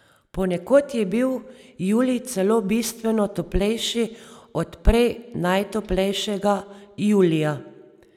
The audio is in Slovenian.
Ponekod je bil julij celo bistveno toplejši od prej najtoplejšega julija.